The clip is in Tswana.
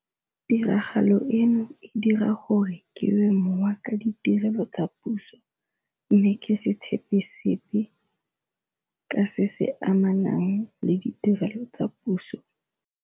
Tiragalo eno e dira gore ke we mowa ka ditirelo tsa puso, mme ke se tshepe sepe ka se se amenang le ditirelo tsa puso.